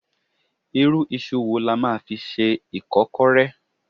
Irú iṣu wo la fi máa ṣe Ìkọ́kọrẹ́?